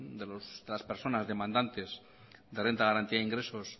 de las personas demandantes de la renta de garantía de ingresos